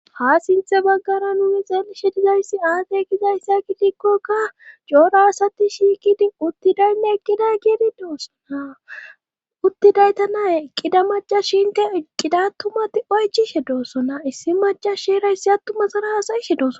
Ha sinthe baggana nune xeelishe dizayssi aade gizayssa kidikkokka joora asati shiikidi uttidoynne eqqiday geedi doossona uttidayta naye eqqida macas shiinke eqqidattumati oychishe doosona issi macas shierayssi attuma sara haasayishe dooso